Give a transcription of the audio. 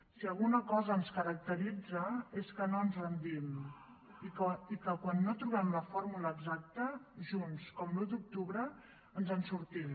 si alguna cosa ens caracteritza és que no ens rendim i que quan no trobem la fórmula exacta junts com l’un d’octubre ens en sortim